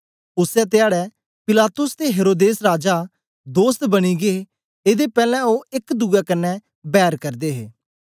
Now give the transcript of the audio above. उसै धयाडै पिलातुस ते हेरोदेस राजा दोस्त बनी गै एदे पैलैं ओ एक दुए कन्ने बैर करदे हे